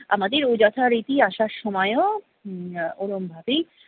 আমাদের ও যথারীতি আসার সময়ও উম ওরম ভাবেই